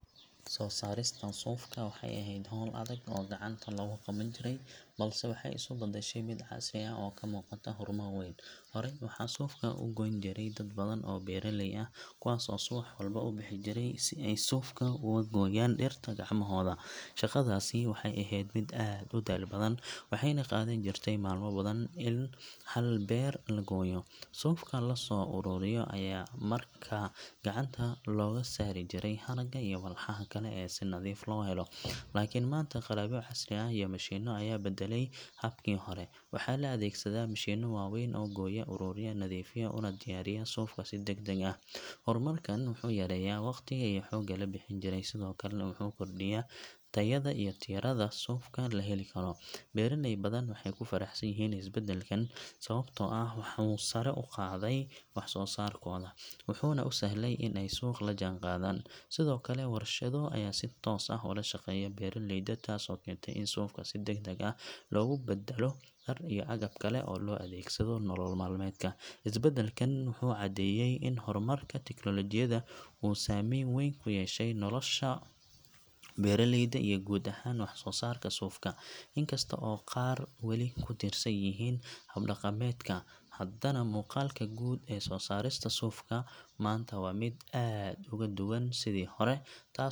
Soo saarista suufka waxay ahayd hawl adag oo gacanta lagu qaban jiray, balse waxay isu beddeshay mid casri ah oo ay ka muuqato horumar weyn. Horey waxaa suufka u goyn jiray dad badan oo beeraley ah, kuwaas oo subax walba u bixi jiray si ay suufka uga gooyaan dhirta gacmahooda. Shaqadaasi waxay ahayd mid aad u daal badan, waxayna qaadan jirtay maalmo badan in hal beer la gooyo. Suufka la soo ururiyo ayaa markaa gacanta looga saari jiray haragga iyo walxaha kale si nadiif loo helo. Laakiin maanta, qalabyo casri ah iyo mishiinno ayaa beddelay habkii hore. Waxaa la adeegsadaa mishiinno waaweyn oo gooya, ururiya, nadiifiya, una diyaariya suufka si degdeg ah. Horumarkan wuxuu yareeyay waqtiga iyo xoogga la bixin jiray, sidoo kalena wuxuu kordhiyay tayada iyo tirada suufka la heli karo. Beeraley badan waxay ku faraxsan yihiin isbedbeddelkan sababtoo ah wuxuu sare u qaaday wax-soo-saarkooda, wuxuuna u sahlay in ay suuqa la jaanqaadaan. Sidoo kale, warshado ayaa si toos ah ula shaqeeya beeraleyda, taasoo keentay in suufka si degdeg ah loogu beddelo dhar iyo agab kale oo loo adeegsado nolol maalmeedka. Isbedbeddelkan wuxuu caddeeyay in horumarka tiknoolajiyada uu saamayn weyn ku yeeshay nolosha beeraleyda iyo guud ahaan wax-soo-saarka suufka. Inkasta oo qaar weli ku tiirsan yihiin hab dhaqameedka, haddana muuqaalka guud ee soo saarista suufka maanta waa mid aad uga duwan sidii hore, taasoo .